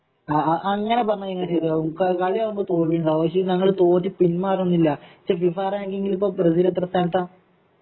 അ ആ അങ്ങനെ പറഞ്ഞാൽ എങ്ങനെ ശരിയാകും കളിയാവുമ്പോ തോൽവിയുണ്ടാകും പക്ഷേ ഞങ്ങള് തോറ്റു പിന്മാറുമൊന്നുമില്ല പക്ഷേ ഫിഫ റാങ്കിങ്ങിൽ ബ്രസീല് എത്രാ സ്ഥാനത്താ